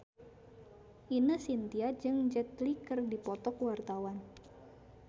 Ine Shintya jeung Jet Li keur dipoto ku wartawan